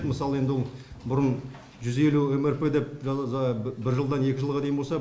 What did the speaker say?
мысалы енді ол бұрын жүз елу мрп деп бір жылдан екінші жылға дейін болса